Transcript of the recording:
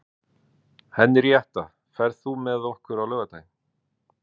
Henríetta, ferð þú með okkur á laugardaginn?